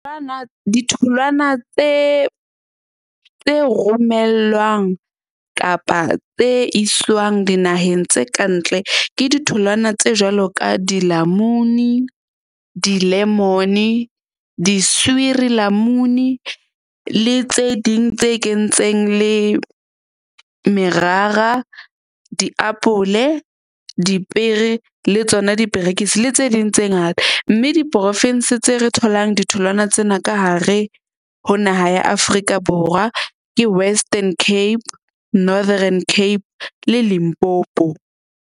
Ditholwana tse romellwang kapa tse iswang dinaheng tse kantle ke ditholwana tse jwalo ka dilamuni, di-lemon di-suurlemoen-e le tse ding tse kentseng le merara, diapole, dipiere le tsona diperekisi le tse ding tse ngata. Mme diporovense tse re tholang ditholwana tsena ka hare ho naha ya Afrika Borwa ke Western Cape, Northern Cape le Limpopo.